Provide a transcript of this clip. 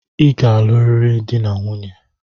I ga-aluriri dị na nwunye!